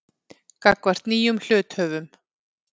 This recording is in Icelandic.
gagnvart nýjum hluthöfum.